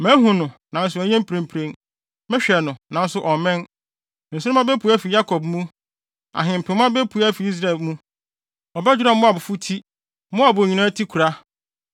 “Mihu no, nanso ɛnyɛ mprempren; mehwɛ no, nanso ɔmmɛn. Nsoromma bepue afi Yakob mu; ahempema bepue afi Israel mu. Ɔbɛdwerɛw Moabfo ti, Moabfo nyinaa tikora.